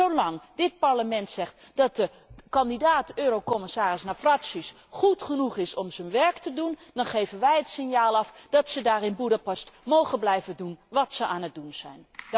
Want zolang dit Parlement zegt dat de kandidaat eurocommissaris Navracsics goed genoeg is om zijn werk te doen, dan geven wij het signaal af dat ze daar in Boedapest mogen blijven doen wat ze aan het doen zijn.